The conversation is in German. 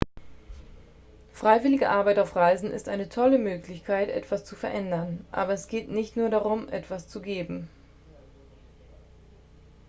freiwillige arbeit auf reisen ist eine tolle möglichkeit etwas zu verändern aber es geht nicht nur darum etwas zu geben